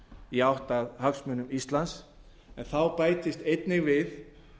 í átt að hagsmunum íslands þá bætist einnig við